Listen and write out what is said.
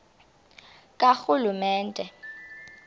karhulumente